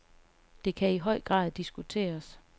Det kan i høj grad diskuteres.